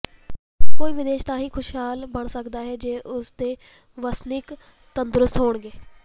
ਕੋਈ ਵੀ ਦੇਸ਼ ਤਾਂ ਹੀ ਖ਼ੁਸ਼ਹਾਲ ਬਣ ਸਕਦਾ ਹੈ ਜੇ ਉਸ ਦੇ ਵਸਨੀਕ ਤੰਦਰੁਸਤ ਹੋਣਗੇ